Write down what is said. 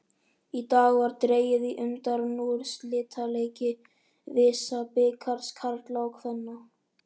Í dag var dregið í undanúrslitaleiki VISA-bikars karla og kvenna.